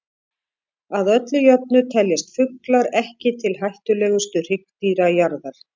Að öllu jöfnu teljast fuglar ekki til hættulegustu hryggdýra jarðar.